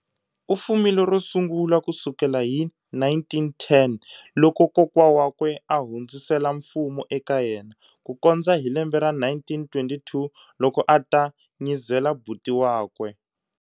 U fumile ro sungula ku sukela hi 1910 loko kokwa wakwe ahundzisela mfumo eka yena, kukondza hi lembe ra 1922 loko ata nyizela buti wakwe